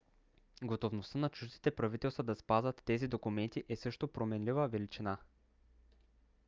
готовността на чуждите правителства да спазват тези документи е също променлива величина